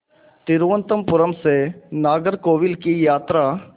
तिरुवनंतपुरम से नागरकोविल की यात्रा